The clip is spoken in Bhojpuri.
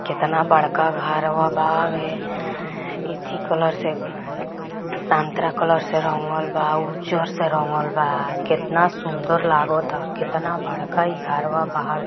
कितना बड़का गरवा भाव है[ इथी कलर से संतरा कलर से रंगल वा उजर से रंगल वा कितना सुन्दर लगत वा कितना बाड़खा घरवा भाव है।